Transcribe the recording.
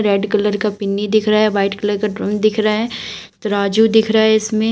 red colour का पिन्नी दिख रहा है वाइट कलर का ड्राइंग दिख रहा है तराजू दिख रहा है इसमें--